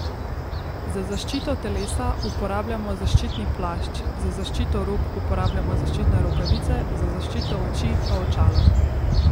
Za zaščito telesa uporabljamo zaščitni plašč, za zaščito rok uporabljamo zaščitne rokavice, za zaščito oči pa očala.